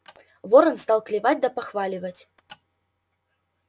ворон стал клевать да похваливать